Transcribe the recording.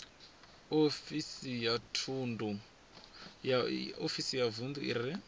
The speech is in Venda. ofisi ya vunḓu i re